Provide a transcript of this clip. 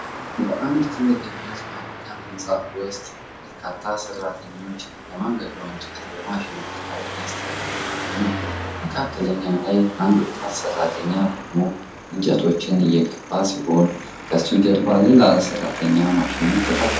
በአንድ ትልቅ የብረት ፋብሪካ ህንጻ ውስጥ፣ በርካታ ሠራተኞች የማገዶ እንጨት በማሽኖች ላይ እያስተላለፉ ነው። መካከለኛ ላይ አንድ ወጣት ሠራተኛ ቆሞ እንጨቶችን እየገፋ ሲሆን፣ ከሱ ጀርባ ሌላ ሠራተኛ ማሽኑን ይከታተላል።